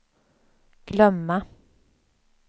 glömma